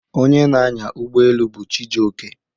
Onye na-anya ụgbọ elu bu Chijioke.